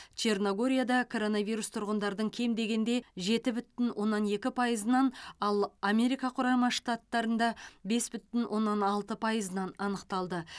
черногорияда коронавирус тұрғындардың кем дегенде жеті бүтін оннан екі пайызынан ал америка құрама штаттарында бес бүтін оннан алты пайызынан анықталды